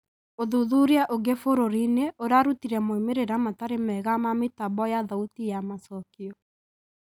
ũthuthuria ũngĩ bũrũri-inĩ ũrarutire moimĩrĩra matari mega ma mĩtambo ya thauti ya macokio.